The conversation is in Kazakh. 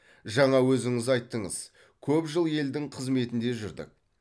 жаңа өзіңіз айттыңыз көп жыл елдің қызметінде жүрдік